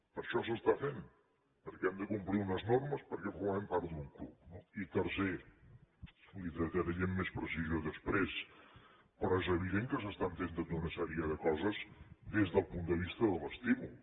per això s’està fent perquè hem de complir unes normes perquè formem part d’un club no i tercer li ho detallaré amb més precisió després però és evident que s’estan fent tota una sèrie de coses des del punt de vista de l’estímul